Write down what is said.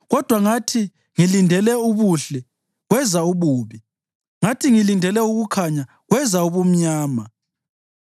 Kodwa ngathi ngilindele ubuhle, kweza ububi; ngathi ngilindele ukukhanya kweza ubumnyama.